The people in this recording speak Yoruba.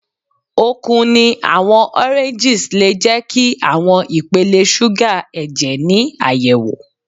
Okun ni awọn oranges le jẹ ki awọn ipele suga ẹjẹ ni ayẹwo